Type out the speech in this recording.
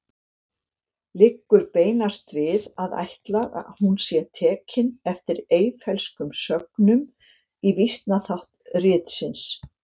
Liggur beinast við að ætla að hún sé tekin eftir Eyfellskum sögnum í vísnaþátt ritsins.